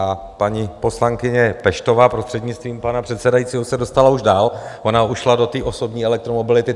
A paní poslankyně Peštová, prostřednictvím pana předsedajícího, se dostala už dál, ona už šla do té osobní elektromobility.